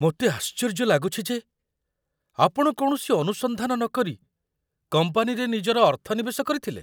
ମୋତେ ଆଶ୍ଚର୍ଯ୍ୟ ଲାଗୁଛି ଯେ ଆପଣ କୌଣସି ଅନୁସନ୍ଧାନ ନକରି କମ୍ପାନୀରେ ନିଜର ଅର୍ଥ ନିବେଶ କରିଥିଲେ।